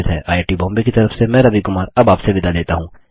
I I T Bombay की तरफ से मैं रवि कुमार अब आप से विदा लेता हूँ